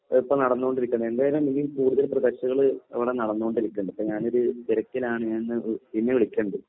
ഇപ്പോ നടന്നുകൊണ്ടിരിക്കുന്നത്. എന്തായാലും ഇതിൽ കൂടുതൽ പ്രോജക്ടുകള് ഇവിടെ നടന്നുകൊണ്ടിരിക്കുന്നു. ഇപ്പോ ഞാനൊരു തിരക്കിലാണ് പിന്നെ വിളിക്കാം.